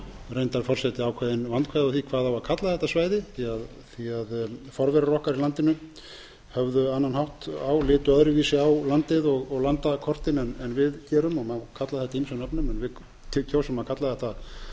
reyndar forseti ákveðin vandkvæði á því hvað eigi að kalla þetta svæði forverar okkar í landinu höfðu annan hátt á litu öðruvísi á landið og landakortin en við gerum og má kalla þetta ýmsum nöfnum en við kjósum að kalla þetta